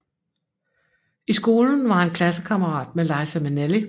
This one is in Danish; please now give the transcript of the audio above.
I skolen var han klassekammerat med Liza Minnelli